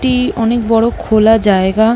এটি অনেক বড় খোলা জায়গা ।